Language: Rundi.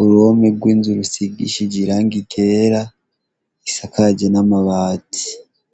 uruhome rw'inzu rusigishije irangi ryera isakaje n'amabati.